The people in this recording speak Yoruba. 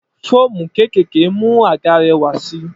Foómú kékèké mú àga réwà sí.